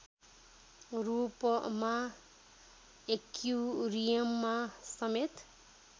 रूपमा एक्युरियममा समेत